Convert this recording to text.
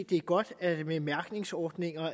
det er godt med en mærkningsordning